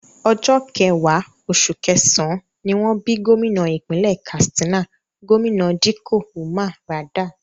Ọjọ́ kẹwàá, oṣù kẹsàn-án, ni wọ́n bí gómìnà ìpínlẹ̀ Katsina, Gómìnà Dikko Umar Radda